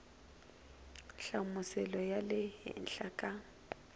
nhlamuselo ya le henhla ka